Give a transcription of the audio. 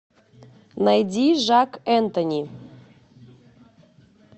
найди жак энтони